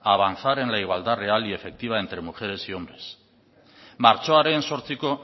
avanzar en la igualdad real y efectiva entre mujeres y hombres martxoaren zortziko